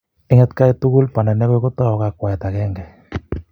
Eng atkai tugul banda nekoi kotou ak kwakwae akenge,